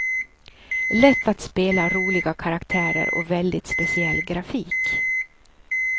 Lätt att spela, roliga karaktärer och väldigt speciell grafik.